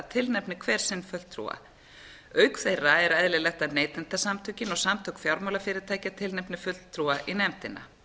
tilnefni hver sinn fulltrúa auk þeirra er eðlilegt að neytendasamtökin og samtök fjármálafyrirtækja tilnefni fulltrúa í nefndina